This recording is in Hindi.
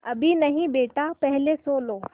अभी नहीं बेटा पहले सो लो